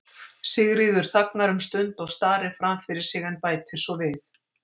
Sigríður þagnar um stund og starir fram fyrir sig en bætir svo við